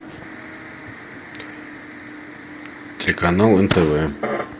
телеканал нтв